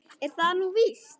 Er það nú víst ?